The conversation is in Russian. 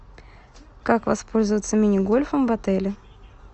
как воспользоваться мини гольфом в отеле